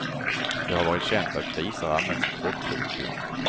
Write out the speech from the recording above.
Det har varit känt att grisar använts i krockprov. punkt